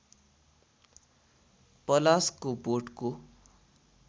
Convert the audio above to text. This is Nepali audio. पलासको बोटको